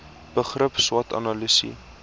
begrip swot analise